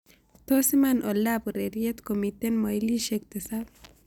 Tos' iman oldab urereiet komiten mailisiek tisap